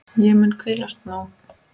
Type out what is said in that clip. Ég mun hvílast nóg.